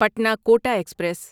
Patna Kota express